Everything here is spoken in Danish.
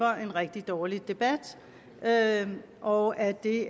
en rigtig dårlig debat og at det